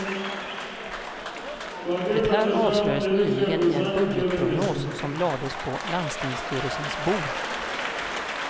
Det här avslöjades nyligen i en budgetprognos som lades på landstingsstyrelsens bord.